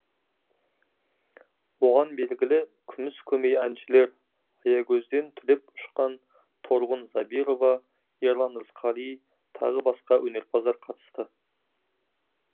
оған белгілі күміс көмей әншілер аягөзден түлеп ұшқан торғын забирова ерлан рысқали тағы басқа өнерпаздар қатысты